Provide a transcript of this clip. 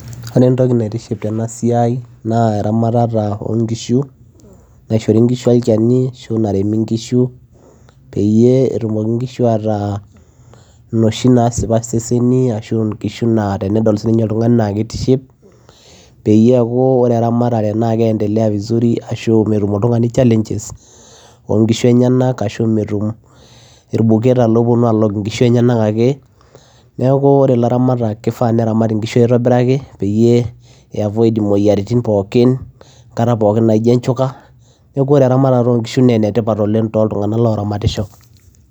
ore entoki naitiship tena siai naa eramatata onkishu naishori inkishu olchani ashu naremi inkishu peyie etumoki inkishu ataa inoshi nasipa seseni ashu nkishu naa tenedol sininye oltung'ani naa kitiship peyie eku ore eramatata naa kiendelea vizuri ashu metum oltung'ani challenges onkishu enyenak ashu metum irbuketa loponu alok inkishu eyenak ake neku ore ilaramatak kifaa neramat inkishu aitobiraki peyie ei avoid imoyiaritin pookin enkata pokin naijo enchuka neku ore eramatata onkishu nenetipat oleng toltung'anak oramatisho.